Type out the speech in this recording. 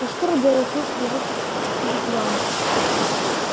но скоро белый клык привык к вигвамам